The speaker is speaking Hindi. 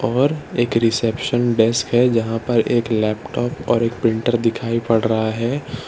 और एक रिसेप्शन डेस्क है जहां पर एक लैपटॉप और एक प्रिंटर दिखाई पड़ रहा है।